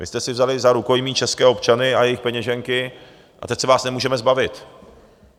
Vy jste si vzali za rukojmí české občany a jejich peněženky a teď se vás nemůžeme zbavit.